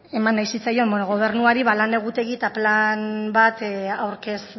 eman nahi zitzaion gobernuari lan egutegi eta plan bat aurkez